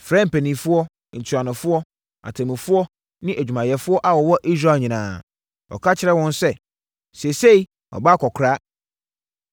frɛɛ mpanimfoɔ, ntuanofoɔ, atemmufoɔ ne adwumayɛfoɔ a wɔwɔ Israel nyinaa. Ɔka kyerɛɛ wɔn sɛ, “Seesei, mabɔ akɔkoraa.